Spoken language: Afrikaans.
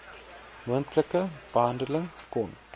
moontlike behandeling kon